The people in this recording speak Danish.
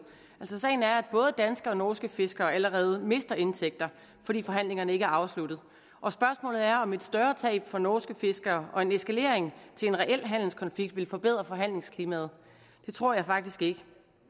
sagen er at både danske og norske fiskere allerede mister indtægter fordi forhandlingerne ikke er afsluttet og spørgsmålet er om et større tab for norske fiskere og en eskalering til en reel handelskonflikt vil forbedre forhandlingsklimaet det tror jeg faktisk ikke